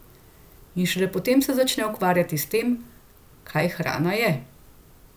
In šele potem se začneš ukvarjati s tem, kaj hrana je.